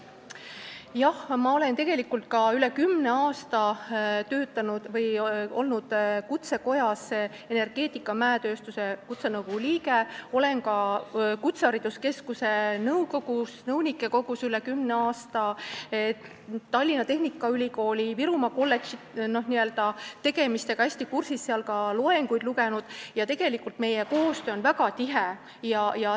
Jah, ma olen üle kümne aasta olnud Kutsekojas energeetika-, mäe- ja keemiatööstuse kutsenõukogu liige, ma olen ka kutsehariduskeskuse nõunike kogus üle kümne aasta olnud ja olen Tallinna Tehnikaülikooli Virumaa kolledži tegemistega hästi kursis, olen seal loenguid pidanud ja meie koostöö on väga tihe.